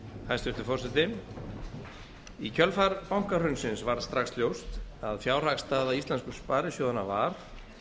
hæstvirtur forseti í kjölfar bankahrunsins varð strax ljóst að fjárhagsstaða íslensku sparisjóðanna var